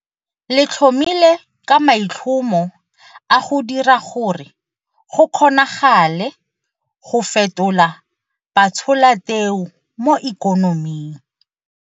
Le tlhomilwe ka maitlhomo a go dira gore go kgonagale go fetola batsholateu mo ikonoming.